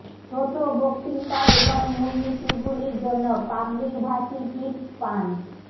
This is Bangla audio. ছোট বক্তৃতা এবং মূলনীতিগুলির জন্য পাবলিক ভাষী টিপস পান